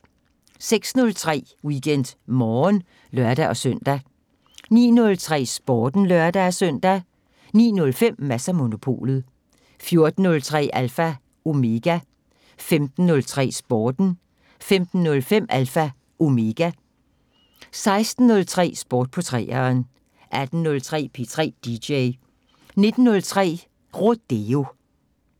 06:03: WeekendMorgen (lør-søn) 09:03: Sporten (lør-søn) 09:05: Mads & Monopolet 14:03: Alpha Omega 15:03: Sporten 15:05: Alpha Omega 16:03: Sport på 3'eren 18:03: P3 DJ 19:03: Rodeo